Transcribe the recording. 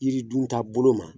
I dun ta bolo ma